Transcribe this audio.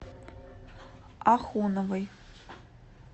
ахуновой